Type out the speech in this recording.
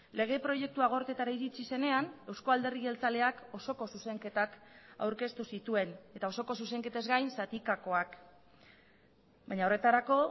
lege proiektua gorteetara iritsi zenean euzko alderdi jeltzaleak osoko zuzenketak aurkeztu zituen eta osoko zuzenketaz gain zatikakoak baina horretarako